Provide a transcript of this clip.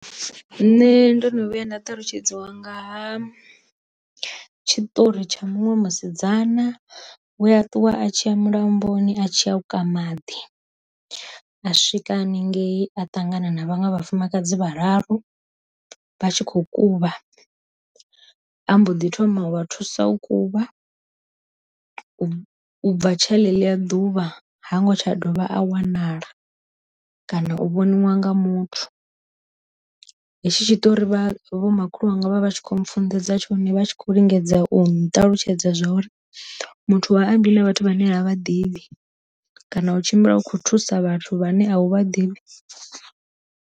Nṋe ndo no vhuya nda talutshedzwa ngaha tshitori tsha muṅwe musidzana we a ṱuwa a tshiya mulamboni a tshi a u kwama maḓi, a swika haningei a ṱangana na vhaṅwe vhafumakadzi vhararu vha tshi kho kuvha ambo ḓi thoma u vha thusa u kuvha, u bva tsha ḽe ḽiya ḓuvha hango tsha dovha a wanala kana u vhoniwa nga muthu. Hetshi tshi ṱori vha vho makhulu wanga vha vha tshi kho mufunḓedza tshone vha tshi khou lingedza u nṱalutshedza zwa uri muthu ha ambiwa vhathu vhane a vha ḓivhi kana u tshimbila u kho thusa vhathu vhane a u vha ḓivhi.